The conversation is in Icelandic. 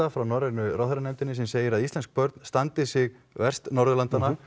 frá norrænu ráðherranefndinni sem segir að íslensk börn standi sig verst Norðurlandanna